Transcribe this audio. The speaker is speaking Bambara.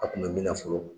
A kun bɛ min na fɔlɔ